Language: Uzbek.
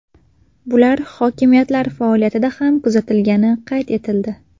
Bular hokimiyatlar faoliyatida ham kuzatilgani qayd etildi.